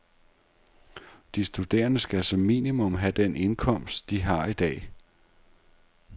De studerende skal som minimum have den indkomst, de har i dag.